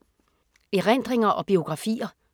Erindringer og biografier